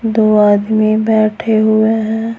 दो आदमी बैठे हुए हैं।